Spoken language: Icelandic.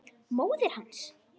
Móðir hans!